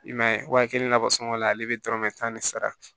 I man ye waati kelen labɔ sɔngɔ la ale bɛ dɔrɔmɛ tan de sara